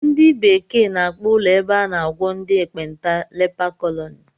Ndị bekee n'akpọ ụlọ ebe a n'agwọ ndị ekpenta leper colony